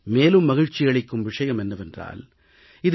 மேலும் மகிழ்ச்சியளிக்கும் விஷயம் என்னவென்றால் இது பி